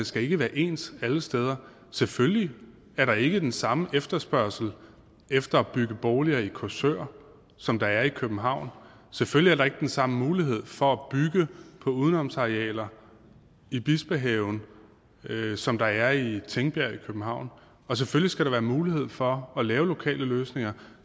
skal være ens alle steder selvfølgelig er der ikke den samme efterspørgsel efter at bygge boliger i korsør som der er i københavn selvfølgelig er der ikke den samme mulighed for at bygge på udenomsarealer i bispehaven som der er i tingbjerg i københavn og selvfølgelig skal der være mulighed for at lave lokale løsninger